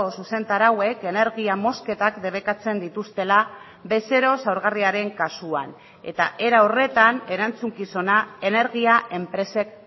zuzentarauek energia mozketak debekatzen dituztela bezero zaurgarriaren kasuan eta era horretan erantzukizuna energia enpresek